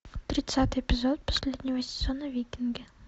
тридцатый эпизод последнего сезона викинги